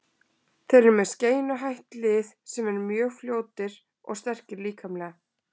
Þeir eru með skeinuhætt lið sem eru mjög fljótir og sterkir líkamlega líka.